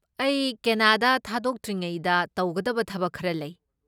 ꯑꯩ ꯀꯦꯅꯗꯥ ꯊꯥꯗꯣꯛꯇ꯭ꯔꯤꯉꯩꯗ ꯇꯧꯒꯗꯕ ꯊꯕꯛ ꯈꯔ ꯂꯩ꯫